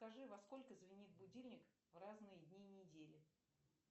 скажи во сколько звенит будильник в разные дни недели